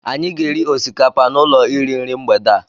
Anyị ga-eri osikapa n'ụlọ iri nri mgbede a.